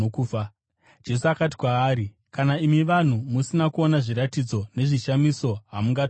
Jesu akati kwaari, “Kana imi vanhu musina kuona zviratidzo nezvishamiso, hamungatongotendi.”